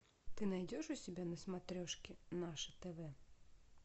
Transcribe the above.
ты найдешь у себя на смотрешке наше тв